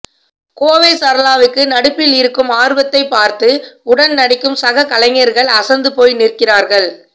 கோவை சரளாவுக்கு நடிப்பில் இருக்கும் ஆர்வத்தைப்பார்த்து உடன் நடிக்கும் சக கலைஞர்கள் அசந்து போய் நிற்கிறார்கள்